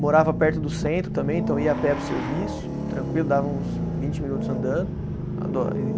Morava perto do centro também, então ia a pé para o serviço, tranquilo, dava uns vinte minutos andando.